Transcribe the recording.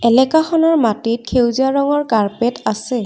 এলেকাখনৰ মাটিত সেউজীয়া ৰঙৰ কাৰ্পেট আছে।